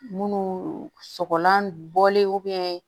Munnu sɔgɔlan bɔlen